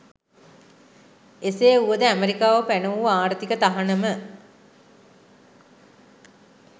එසේ වුවද ඇමෙරිකාව පැන වූ ආර්ථික තහනම